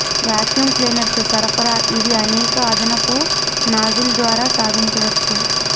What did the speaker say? vacuum cleaners సరఫరా ఇవి అనేక అదనపు నాజిల్ ద్వారా సాధించవచ్చు